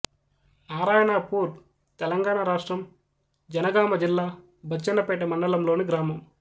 నారాయణాపూర్ తెలంగాణ రాష్ట్రం జనగామ జిల్లా బచ్చన్నపేట మండలంలోని గ్రామం